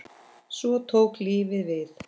Svo tók lífið við.